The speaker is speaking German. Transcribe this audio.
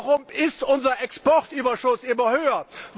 Warum ist unser Exportüberschuss immer höher?